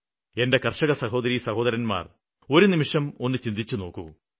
എന്റെ കര്ഷക സഹോദരീസഹോദരന്മാര് ഒരുനിമിഷം ഒന്നു ചിന്തിച്ചുനോക്കൂ